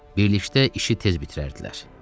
Birlikdə işi tez bitirərdilər.